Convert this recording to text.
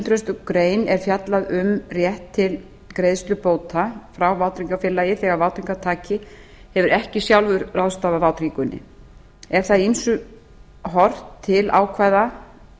hundrað greinar er fjallað um rétt til greiðslu bóta frá vátryggingafélagi þegar vátryggingartaki hefur ekki sjálfur ráðstafað vátryggingunni er þar í ýmsu horft til ákvæða